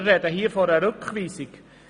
Wir sprechen hier über eine Rückweisung.